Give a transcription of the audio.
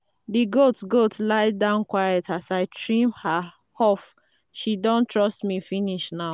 the goat goat lie down quiet as i trim her hof—she don trust me finish now.